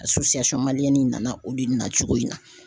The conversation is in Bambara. nana olu na cogo in na.